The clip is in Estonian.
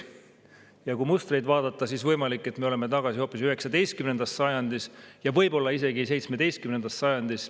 Ja kui mustreid vaadata, siis võimalik, et me oleme tagasi hoopis 19. sajandis ja võib-olla isegi 17. sajandis.